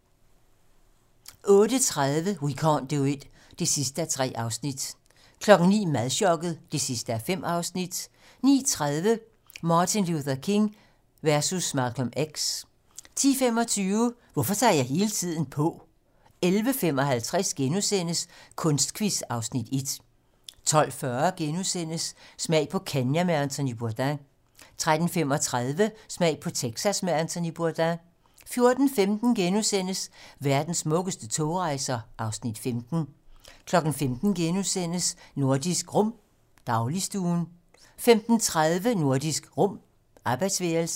08:30: We can't do it (3:3) 09:00: Madchokket (5:5) 09:30: Martin Luther King versus Malcolm X 10:25: Hvorfor tager jeg hele tiden på? 11:55: Kunstquiz (Afs. 1)* 12:40: Smag på Kenya med Anthony Bourdain * 13:35: Smag på Texas med Anthony Bourdain 14:15: Verdens smukkeste togrejser (Afs. 15)* 15:00: Nordisk Rum - dagligstuen * 15:30: Nordisk Rum - arbejdsværelset